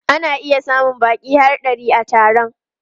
Ana iya samun baƙi har ɗari a taron.